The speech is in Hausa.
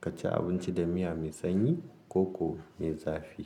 ka ci abinci da miya mai sanyi ko ko mai zafi.